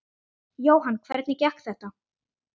Jóhann: Hvernig gekk þetta?